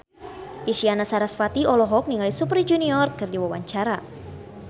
Isyana Sarasvati olohok ningali Super Junior keur diwawancara